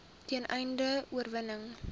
ten einde oorweging